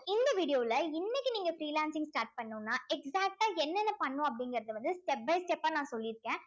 இந்த video ல இன்னக்கு நீங்க freelancing start பண்ணனும்னா exact ஆ என்னென்ன பண்ணணும் அப்படிங்கிறத வந்து step by step ஆ நான் சொல்லி இருக்கேன்